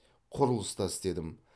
құрылыста істедім